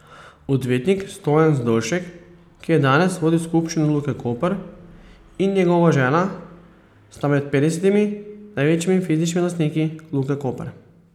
Odvetnik Stojan Zdolšek, ki je danes vodil skupščino Luke Koper, in njegova žena sta med petdesetimi največjimi fizičnimi lastniki Luke Koper.